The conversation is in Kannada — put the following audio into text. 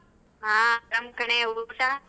ಹ ಅರಾಮ್ ಕಣೆ, ಊಟ?